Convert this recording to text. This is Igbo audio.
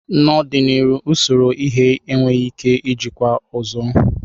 n'ọdịnihu usoro ighe enweghị ike ijikwa ọzọ.